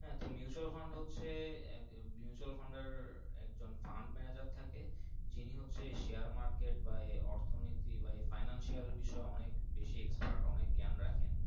হ্যাঁ তো Mutual Fund fund হচ্ছে Mutual Fund এর একজন প্যান্ট Manajer থাকে যিনি হচ্ছে Share market বা অর্থ নৈতিক বা Financial অনেক বিষয়ে অনেক বেশি Expire কনেকে গেন রাখেন।